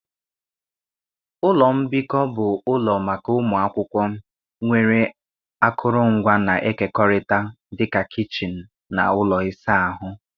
Ụlọ mbikọ bụ ụlọ maka ụmụ akwụkwọ, nwere akụrụngwa na-ekekọrịta dị ka kichin na ụlọ ịsa ahụ.